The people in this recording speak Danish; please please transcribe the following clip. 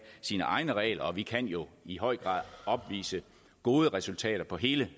sine egne regler og vi kan jo i høj grad opvise gode resultater på hele